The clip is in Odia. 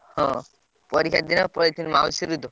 ହଁ। ପରୀକ୍ଷା ଦେଇନି ପଳେଇଥିଲି ମାଉସୀ ଘର ତ।